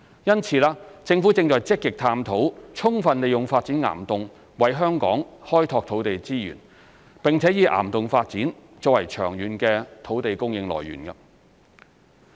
因此，政府正積極探討充分利用發展岩洞為香港開拓土地資源，並以岩洞發展作為長遠的土地供應來源。